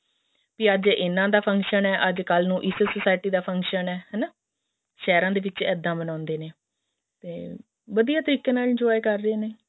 ਤੇ ਅੱਜ ਇਹਨਾ ਦਾ function ਹੈ ਅੱਜ ਕਲ ਨੂੰ ਇਸ society ਦਾ function ਹੈ ਹਨਾ ਸ਼ਹਿਰਾਂ ਦੇ ਵਿੱਚ ਇੱਦਾਂ ਮਨਾਉਂਦੇ ਨੇ ਤੇ ਵਧੀਆ ਤਰੀਕੇ ਨਾਲ enjoy ਕਰਦੇ ਨੇ